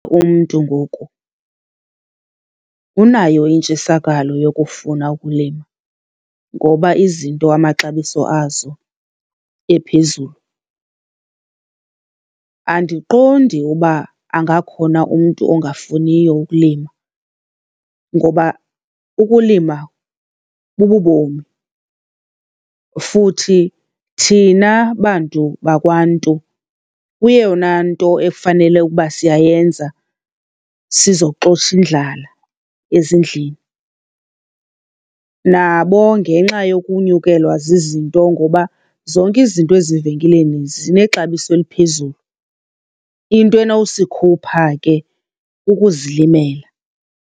Umntu ngoku unayo intshisakalo yokufuna ukulima ngoba izinto amaxabiso azo ephezulu. Andiqondi uba angakhona umntu ongafuniyo ukulima ngoba ukulima bububomi futhi thina bantu bakwaNtu kuyeyona nto efanele uba siyayenza, sizoxosha indlala ezindlini. Nabo ngenxa yokunyukelwa zizinto ngoba zonke izinto ezivenkileni zinexabiso eliphezulu. Into enowusikhupha ke kukuzilimela.